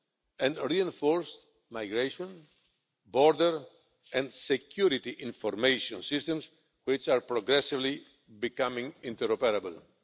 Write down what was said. and reinforced migration, border and security information systems, which are progressively becoming interoperable.